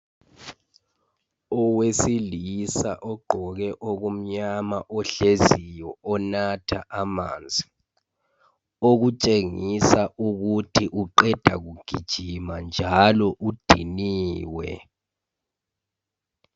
Owesilisa ogqoke okumnyama ohleziyo onatha amanzi , okutshengisa ukuthi uqeda kugijima njalo udiniwe.